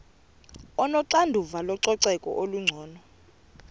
onoxanduva lococeko olungcono